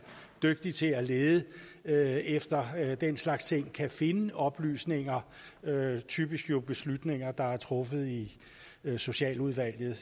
dygtig til at lede lede efter den slags ting kan finde oplysninger typisk jo beslutninger der er truffet i socialudvalget